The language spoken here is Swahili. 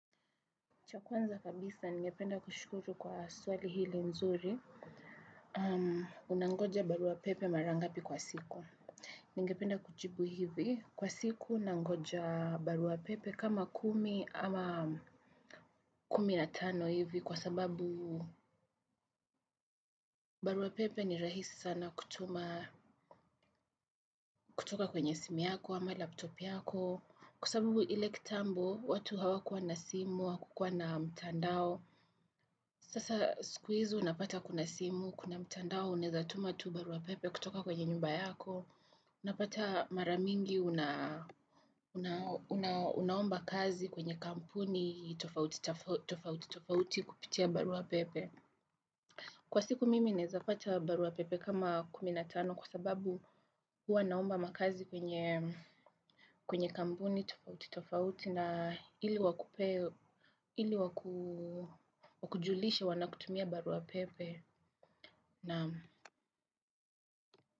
Cha kwanza kabisa, ningependa kushukuru kwa swali hili mzuri. Um, unangoja barua pepe marangapi kwa siku. Ningependa kujibu hivi. Kwa siku unangoja barua pepe kama kumi ama kumi na tano hivi kwa sababu barua pepe ni rahisi sana kutoka kwenye simu yako ama laptop yako kwa sababu ile kitambo, watu hawakuwa na simu, hawakukuwa na mtandao. Sasa siku hizi unapata kuna simu, kuna mtandao, unaezatuma tu barua pepe kutoka kwenye nyumba yako. Unapata maramingi unaomba kazi kwenye kampuni tofauti kupitia barua pepe. Kwa siku mimi naeza pata barua pepe kama kumi na tano kwa sababu huwa naomba makazi kwenye kwenye kampuni tofauti tofauti na ili wakujulisha wanakutumia barua pepe.